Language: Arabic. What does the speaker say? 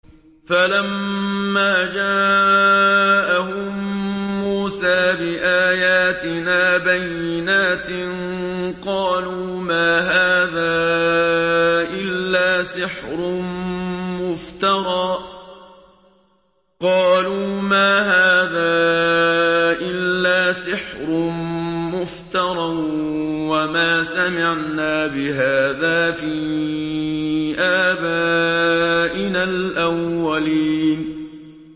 فَلَمَّا جَاءَهُم مُّوسَىٰ بِآيَاتِنَا بَيِّنَاتٍ قَالُوا مَا هَٰذَا إِلَّا سِحْرٌ مُّفْتَرًى وَمَا سَمِعْنَا بِهَٰذَا فِي آبَائِنَا الْأَوَّلِينَ